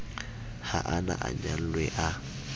ha a na anyalwe a